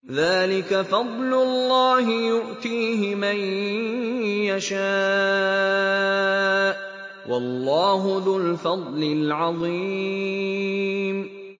ذَٰلِكَ فَضْلُ اللَّهِ يُؤْتِيهِ مَن يَشَاءُ ۚ وَاللَّهُ ذُو الْفَضْلِ الْعَظِيمِ